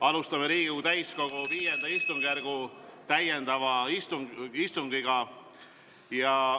Alustame Riigikogu täiskogu V istungjärgu täiendavat istungit.